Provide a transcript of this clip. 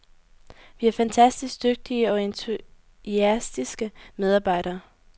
Vi har fantastisk dygtige og entuastiske medarbejdere.